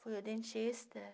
Fui ao dentista.